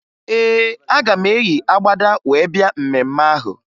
Ee, aga m eyi agbada wee bịa mmemme ahụ